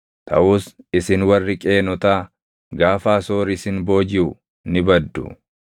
taʼus isin warri Qeenotaa, gaafa Asoor isin boojiʼu ni baddu.”